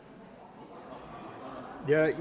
jeg